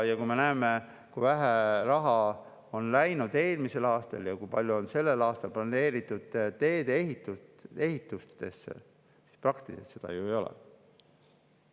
Ja me näeme, kui vähe raha läks eelmisel aastal ja kui palju on sellel aastal planeeritud teede ehitusse – seda praktiliselt ju ei ole.